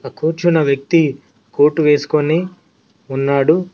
ఆ కూర్చున్న వ్యక్తి కోటు వేసుకొని ఉన్నాడు.